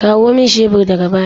Kawo min shebur daga baya!